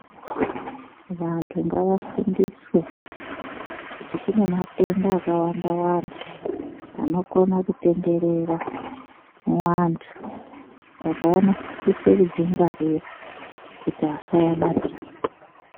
Vantu ngavafundiswe kuti kunematemda akawanda Wanda anokona anokona kutenderera muantu Saka vanosisa kudzingwarira kuti asabatira